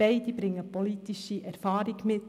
Beide bringen politische Erfahrung mit.